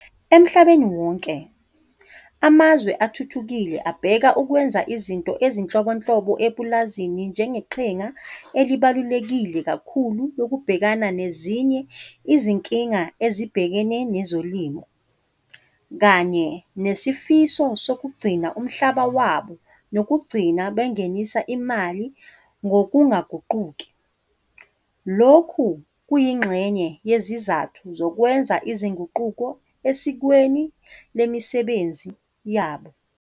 Emhlabeni wonke, amazwe athuthukile abheka ukwenza izinto ezinhlobonhlobo epulazini njengeqhinga elibaluleke kakhulu lokubhekana nezinye izinkinga ezibhekene nezolimo, kanye nesifiso sokugcina umhlaba wabo nokugcina bengenisa imali ngokungaguquki, lokhu kuyingxenye yezizathu zokwenza izinguquko esikweni lemisebenzi yabo.